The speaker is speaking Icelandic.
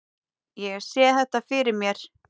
Ég sé þetta fyrir mér.